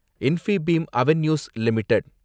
Infibeam Avenues limited